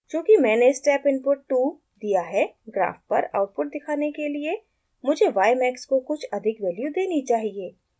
चूँकि मैंने step input 2 दिया है ग्राफ़ पर आउटपुट दिखाने के लिए मुझे ymax को कुछ अधिक वैल्यू देनी चाहिए